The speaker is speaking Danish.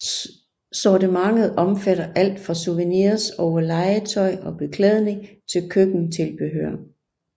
Sortimentet omfatter alt fra souvenirs over legetøj og beklædning til køkkentilbehør